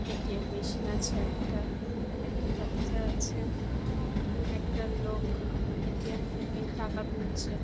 ATM. Machine আছে একটা। একটা দরজা আছে। একটা লোক এ.টি.এম. থেকে টাকা তুলছে।